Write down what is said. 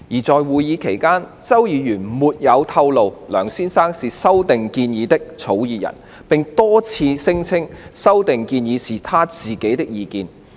在會議期間，周議員沒有透露梁先生是修訂建議的草擬人，並多次聲稱修訂建議是他自己的意見。